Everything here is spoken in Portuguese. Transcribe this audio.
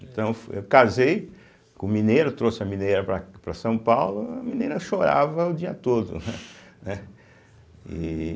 Então, fo eu casei com mineira, trouxe a mineira para para São Paulo, a mineira chorava o dia todo, né? Né e